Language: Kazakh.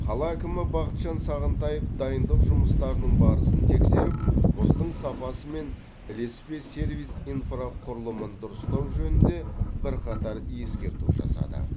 қала әкімі бақытжан сағынтаев дайындық жұмыстарының барысын тексеріп мұздың сапасы мен ілеспе сервис инфрақұрылымын дұрыстау жөнінде бірқатар ескерту жасады